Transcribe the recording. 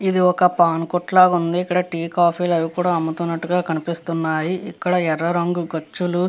ఇది ఒక పాన్ కొట్టు లాగా ఉంది. ఇక్కడ టి కాఫీ అవి కూడా అమ్ముతున్నట్టుగా కనిపిస్తున్నాయి. ఇక్కడ ఎర్ర రంగు గచ్చులు --